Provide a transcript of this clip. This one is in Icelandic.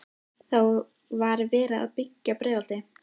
Hvað vissir þú meðan þú sast inni í ríkisstjórn?